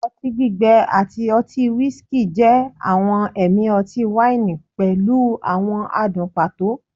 oti gbigbẹ ati ọti whiskey jẹ awọn ẹmi ọti-waini pẹlu awọn adun pato